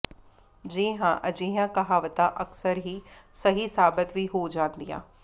ਜੀ ਹਾਂ ਅਜਿਹੀਆਂ ਕਹਾਵਤਾਂ ਅਕਸਰ ਹੀ ਸਹੀ ਸਾਬਤ ਵੀ ਹੋ ਜਾਂਦੀਆਂ